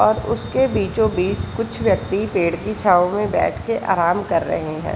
और उसको बीचों-बीच कुछ व्यक्ति पेड़ की छाव में बैठ के आराम कर रहे हैं।